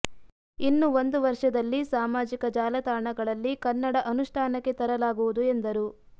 ಇನ್ನು ಒಂದು ವರ್ಷದಲ್ಲಿ ಸಾಮಾಜಿಕ ಜಾಲತಾಣಗಳಲ್ಲಿ ಕನ್ನಡ ಅನುಷ್ಠಾನಕ್ಕೆ ತರಲಾಗುವುದು ಎಂದರು